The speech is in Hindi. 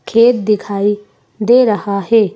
खेत दिखाई दे रहा है।